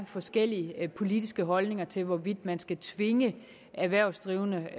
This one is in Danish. forskellige politiske holdninger til hvorvidt man skal tvinge erhvervsdrivende